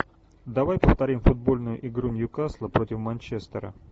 давай повторим футбольную игру ньюкасла против манчестера